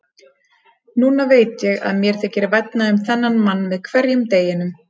Núna veit ég að mér þykir vænna um þennan mann með hverjum deginum.